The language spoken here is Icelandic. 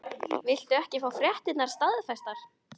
Viltu ekki fá fréttirnar staðfestar?